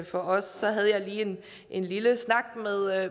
for os så havde jeg lige en lille snak